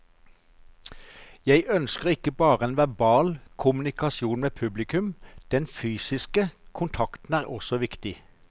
Jeg ønsker ikke bare en verbal kommunikasjon med publikum, den fysiske kontakten er også viktig.